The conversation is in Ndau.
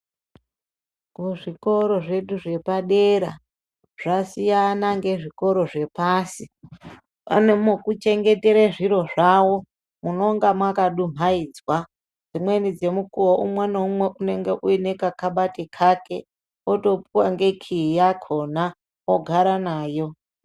Ku zvikora zvedu zvepadera zvasina nge zvikoro zvepasi pane muku chengetere zviro zvawo munonga maka dumhaidzwa dzimweni dze mukuwo umwe na umwe unenge uine ka kabati kake oto puwa nge key yakona ogara nayo.